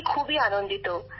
আমি খুবই আনন্দিত